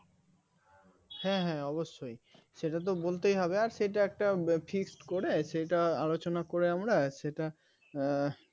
হ্যাঁ হ্যাঁ অবশ্যই সেটা তো বলতেই হবে আর সেটা একটা fixed করে সেটা আলোচনা করে আমরা সেটা উম